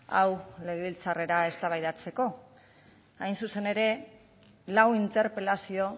hau legebiltzarrera eztabaidatzeko hain zuzen ere lau interpelazio